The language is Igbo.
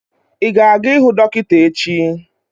Ị ga-aga ihuu dọkịta echi?